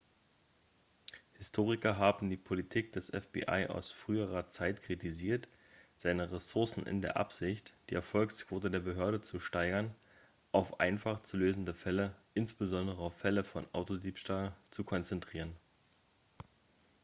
historiker haben die politik des fbi aus früherer zeit kritisiert seine ressourcen in der absicht die erfolgsquote der behörde zu steigern auf einfach zu lösende fälle insbesondere auf fälle von autodiebstahl zu konzentrieren